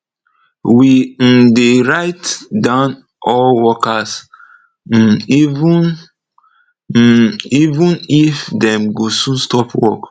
we um de write down all workers um even um even if dem go soon stop work